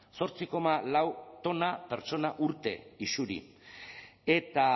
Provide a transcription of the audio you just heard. zortzi koma lau tona pertsona urte isuri eta